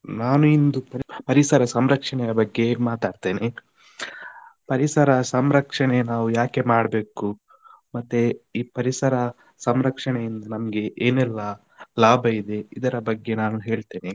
ನಾನು ಇಂದು ಪರಿಸರ ಸಂರಕ್ಷಣೆ ಬಗ್ಗೆ ಮಾತಾಡ್ತೇನೆ, ಪರಿಸರ ಸಂರಕ್ಷಣೆ ನಾವು ಯಾಕೆ ಮಾಡ್ಬೇಕು, ಮತ್ತೆ ಈ ಪರಿಸರ ಸಂರಕ್ಷಣೆಯಿಂದ ನಮ್ಗೆ ಏನೆಲ್ಲ ಲಾಭ ಇದೆ ಇದರ ಬಗ್ಗೆ ನಾನು ಹೇಳ್ತೇನೆ.